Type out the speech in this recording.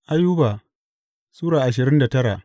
Ayuba Sura ashirin da tara